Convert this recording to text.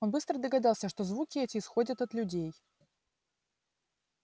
он быстро догадался что звуки эти исходят от людей